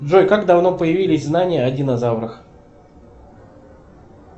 джой как давно появились знания о динозаврах